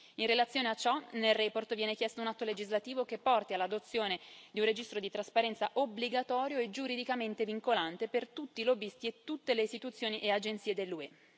In relazione a ciò, nella relazione viene chiesto un atto legislativo che porti all'adozione di un registro per la trasparenza obbligatorio e giuridicamente vincolante per tutti i lobbisti e tutte le istituzioni e agenzie dell'UE.